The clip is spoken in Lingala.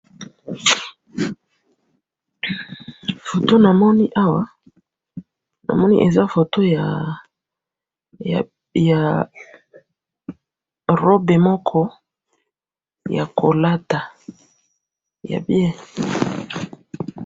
photo na moni awa na moni eza photo ya robe moko ya kolata ya bien